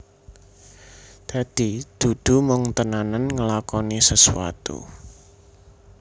Dadi dudu mung tenanan nglakoni sesuatu